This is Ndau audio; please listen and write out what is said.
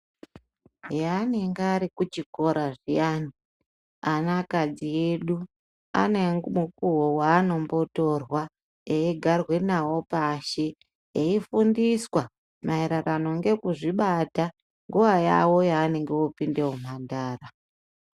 Ehe anenge arikuchikora zvianianakadzi yedu anemunguwo waanombotorwa, eyigarwe nawo pasi eyifundiswa maererano ngekuzvibata nguva yavo yavanenge vopinde muhumhandara.